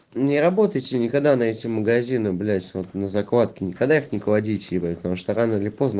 не работайте никогда на эти магазины блять вот на закладке никогда их не кладите и потму что рано или поздно